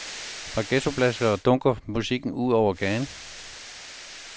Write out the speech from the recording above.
Fra ghettoblastere dunker musikken ud over gaden.